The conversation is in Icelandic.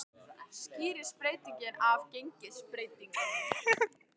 Skýrist breytingin af gengisbreytingum